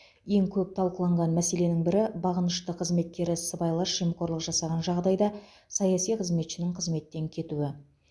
ең көп талқыланған мәселенің бірі бағынышты қызметкері сыбайлас жемқорлық жасаған жағдайда саяси қызметшінің қызметтен кетуі